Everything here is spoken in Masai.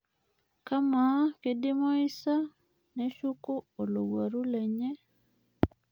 Amaa keidimayu asa neshuku olouaru lenye